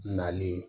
Nali